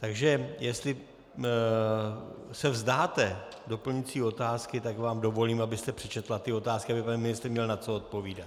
Takže jestli se vzdáte doplňující otázky, tak vám dovolím, abyste přečetla ty otázky, aby pan ministr měl na co odpovídat.